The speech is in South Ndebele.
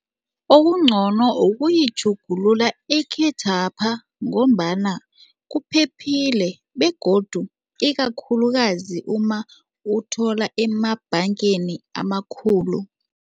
Okungcono ukuyitjhugulula ekhethwapha ngombana kuphephile begodu ikakhulukazi uma uthola emabhangeni amakhulu.